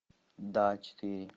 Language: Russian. да четыре